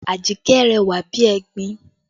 Ajikẹ́ rẹwà bí egbin